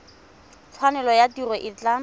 tshwanelo ya tiro e tla